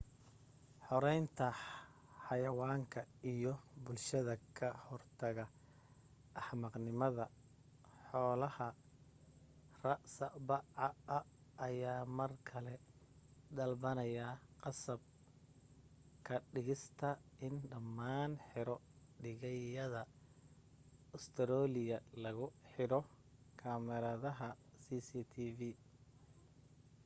xoreynta xayawaanka iyo bulshada ka hortaga axmaqnimada xoolaha rspca ayaa mar kale dalbanaya qasab ka dhigista in dhammaan xero-dhiigyada ustareeliya lagu cidho kamaradaha cctv